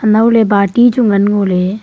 anaw ley party chu ngan ngo ley.